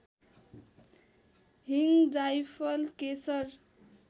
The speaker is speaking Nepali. हिङ जाइफल केशर